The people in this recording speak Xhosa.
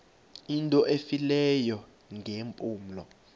into efileyo ngeempumlo